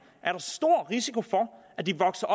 er der stor risiko for at de vokser